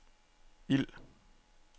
ild